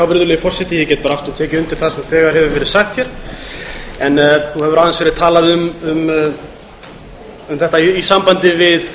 virðulegi forseti ég get bara aftur tekið undir það sem þegar hefur verið sagt nú hefur aðeins verið talað um þetta í sambandi